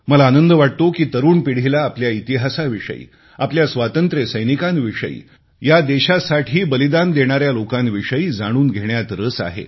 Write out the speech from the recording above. मला आनंद वाटतो की तरुण पिढीला आपल्या इतिहासाविषयी आपल्या स्वातंत्र्य सैनिकांविषयी या देशासाठी बलिदान देणाऱ्या लोकांविषयी जाणून घेण्यात रस आहे